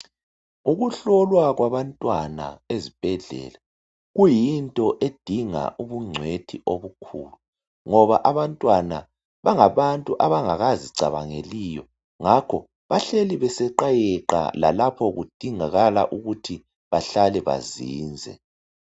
Ukuhlolwa kwabantwana ezibhedlela kuyinto edinga ubungcwethi obukhulu ngoba abantwana bangabantu abangakazi cabangeliyo ngakho bahleli beseqayeqa lapho kudingakala ukuthi bahlale bazinze.